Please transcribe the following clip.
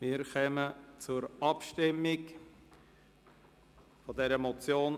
Wir kommen zur Abstimmung über diese Motion.